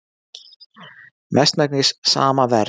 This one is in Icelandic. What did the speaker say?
Mestmegnis sama verð